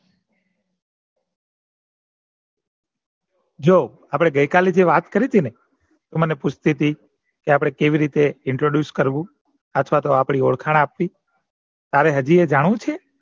જો આપડે ગઈ કાલે જે વાત કરી હતી ને તું મને પુસ્તી હતી કે આપડે કેવી રીતે Introduce અથવા તો આપડી ઓળખાણ આપવી તારે હજીયે જાણવું છે